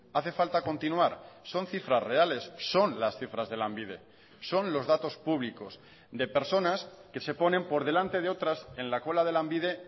hace falta continuar son cifras reales son las cifras de lanbide son los datos públicos de personas que se ponen por delante de otras en la cola de lanbide